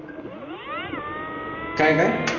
काय-काय?